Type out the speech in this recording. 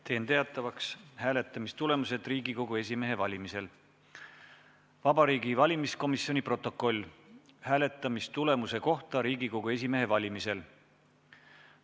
Teen teatavaks hääletamistulemused Riigikogu esimehe valimisel ja Vabariigi Valimiskomisjoni protokolli hääletamistulemuste kohta Riigikogu esimehe valimisel.